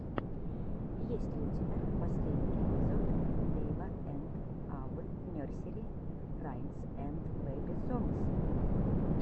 есть ли у тебя последний эпизод дэйва энд авы нерсери раймс энд бэби сонгс